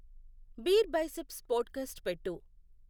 beer biceps podcast పెట్టు